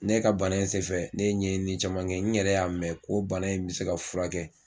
Ne ka bana in senfɛ ne ye ɲɛɲini caman kɛ n yɛrɛ y'a mɛn ko bana in bɛ se ka furakɛ kɛ.